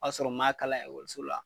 O y'a sɔrɔ u m'a kala so la